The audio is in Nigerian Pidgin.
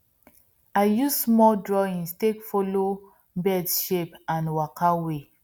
i use small drawings take follow birds shapes and waka way